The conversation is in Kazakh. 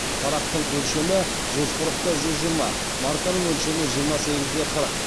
парақтың өлшемі жүз қырық та жүз жиырма марканың өлшемі жиырма сегіз де қырық